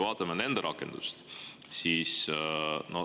Vaatame nende rakendust.